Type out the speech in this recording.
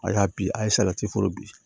A y'a bi a ye foro bi